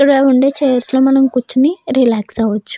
ఇక్కడ ఉండే చైర్స్ లో మనం కూర్చొని రిలాక్స్ అవ్వచ్చు.